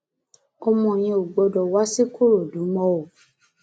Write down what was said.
ọmọ yẹn ò gbọdọ wá ṣìkòròdú mọ o